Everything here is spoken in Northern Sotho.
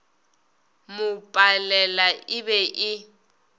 mo palela e be e